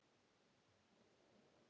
Nú, verður veisla?